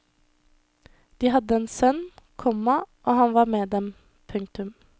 De hadde en sønn, komma og han var med dem. punktum